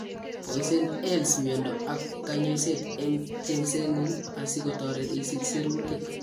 Boisien 'Eales miondo ak kanyoiset' eng' chengseetngung' asikotoret isich siruutik